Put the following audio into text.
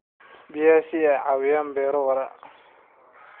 biyaha si ay u caawiyaan beero waara.